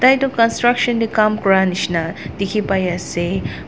tai tu construction tae Kam kura nishina dikhipaiase.